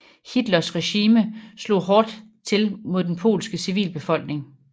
Hitlers regime slog ekstra hårdt til mod den polske civilbefolkning